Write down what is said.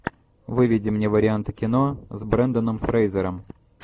выведи мне варианты кино с бренданом фрейзером